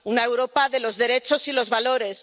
una Europa de los derechos y los valores